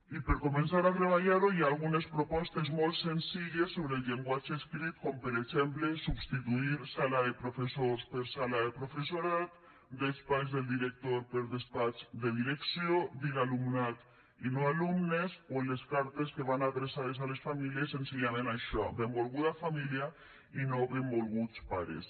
i per començar a treballar ho hi ha algunes propostes molt senzilles sobre el llenguatge escrit com per exemple substituir sala de professors per sala de professorat despatx del director per despatx de direcció dir alumnat i no alumnes o en les cartes que van adreçades a les famílies senzillament dir això benvolguda família i no benvolguts pares